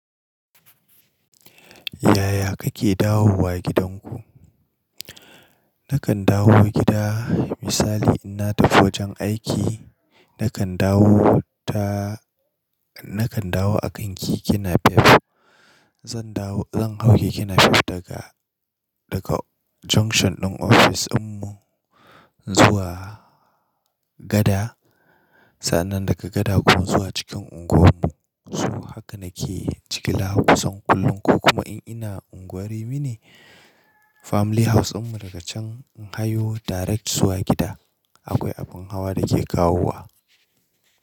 Yaya kake dawowa gidanku? Nakan dawowa gida, misali ina tafi wajen aiki nakan dawo ta-- nakan dawo a kan Kekenafep. Zan dawo-- zan hau keKenafep daga, daga junction ɗin office dinmu zuwa gada. Sa'nan daga gada kuma zuwa cikin unguwarmu. To haka nake jigila kusan kullum, ko kuma in ina unguwar mini family house dinmu daga can in hayo direct zuwa gida. Akwai abin hawa da ke kawowa.